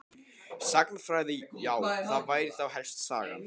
Sagnfræði já það væri þá helst Sagan.